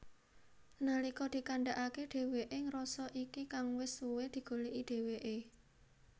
Nalika dikandhakake dheweke ngrasa iki kang wis suwe digoleki dheweke